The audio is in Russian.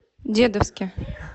дедовске